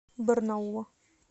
барнаула